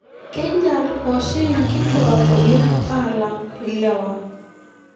keinyal oshii nkitwak oleng alang lewa.